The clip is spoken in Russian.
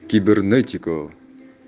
кибернетика